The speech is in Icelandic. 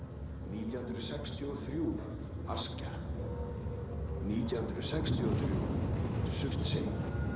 nítján hundruð sextíu og þrjú Askja nítján hundruð sextíu og þrjú Surtsey